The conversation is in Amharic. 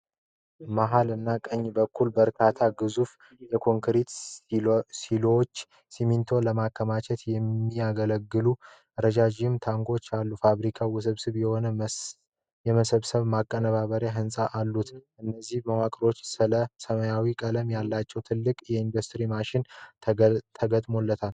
መሀል እና ቀኝ በኩል በርካታ ግዙፍ የኮንክሪት ሲሎዎች ሲሚንቶን ለማከማቸት የሚያገለግሉ ረዣዥም ታንኮች አሉ። ፋብሪካው ውስብስብ የሆኑ የመሰብሰቢያና ማቀነባበሪያ ህንጻዎች አሉት፤ በእነዚህ መዋቅሮች ላይ ሰማያዊ ቀለም ያላቸው ትላልቅ የኢንዱስትሪ ማሽነሪዎች ተገጥመዋል።